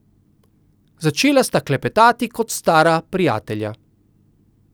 Začela sta klepetati kot stara prijatelja.